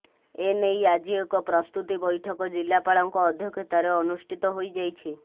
ଏ ନେଇ ଆଜି ଏକ ପ୍ରସ୍ତୁତି ବୈଠକ ଜିଲ୍ଲାପାଳଙ୍କ ଅଧ୍ୟକ୍ଷତାରେ ଅନୁଷ୍ଟିତ ହୋଇଯାଇଛି